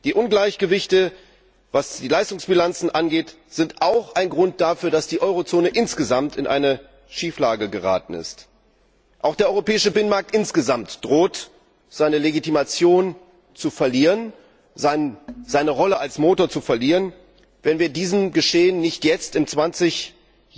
Die Ungleichgewichte, was die Leistungsbilanzen angeht, sind auch ein Grund dafür, dass die Eurozone insgesamt in eine Schieflage geraten ist. Auch der europäische Binnenmarkt insgesamt droht seine Legitimation, seine Rolle als Motor zu verlieren, wenn wir diesem Geschehen nicht jetzt, zum zwanzigjährigen